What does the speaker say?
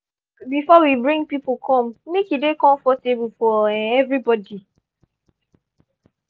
we go ask before we bring people come make e dey comfortable for um everybody.